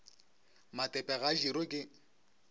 matepe ga a dirwe ke